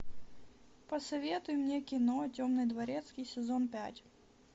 посоветуй мне кино темный дворецкий сезон пять